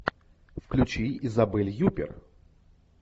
включи изабель юппер